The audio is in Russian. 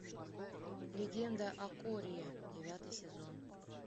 легенда о корре девятый сезон